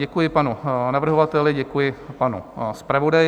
Děkuji panu navrhovateli, děkuji panu zpravodaji.